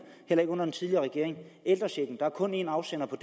heller ikke under den tidligere regering der er kun en afsender på